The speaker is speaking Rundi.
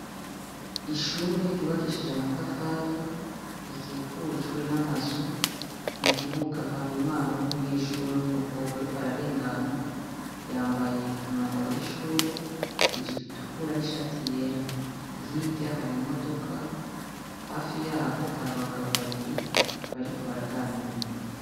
Ishure ryubakishije amatafari, rikikujwe n'amazu, mukibuga har'umwana w'umunyeshure w'umukobwa ariko ararengana, yambaye umwambaro w'ishure, ijipo itukura n'ishati yera. Hirya hari imodoka , hafi yaho hari abagabo babiri bariko baraganira.